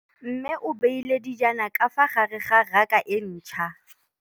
Mmê o beile dijana ka fa gare ga raka e ntšha.